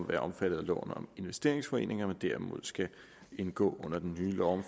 være omfattet af loven om investeringsforeninger men derimod skal indgå under den nye lov